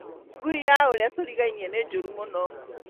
Ngui ya ũrĩa tũrigainie nĩ njũru mũno